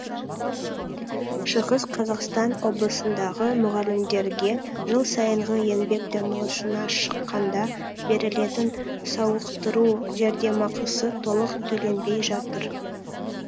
шығыс қазақстан облысындағы мұғалімдерге жыл сайынғы еңбек демалысына шыққанда берілетін сауықтыру жәрдемақысы толық төленбей жатыр